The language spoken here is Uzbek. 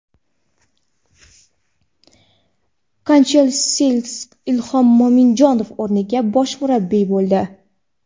Kanchelskis Ilhom Mo‘minjonov o‘rniga bosh murabbiy bo‘ldi.